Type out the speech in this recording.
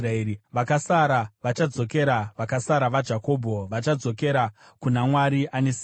Vakasara vachadzokera, vakasara vaJakobho, vachadzokera kuna Mwari Ane Simba.